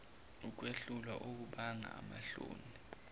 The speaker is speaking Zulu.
ukwehlulwa okubanga amahloni